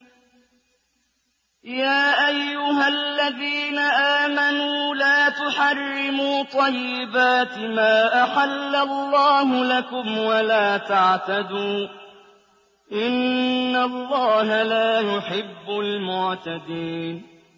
يَا أَيُّهَا الَّذِينَ آمَنُوا لَا تُحَرِّمُوا طَيِّبَاتِ مَا أَحَلَّ اللَّهُ لَكُمْ وَلَا تَعْتَدُوا ۚ إِنَّ اللَّهَ لَا يُحِبُّ الْمُعْتَدِينَ